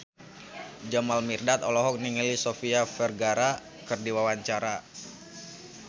Jamal Mirdad olohok ningali Sofia Vergara keur diwawancara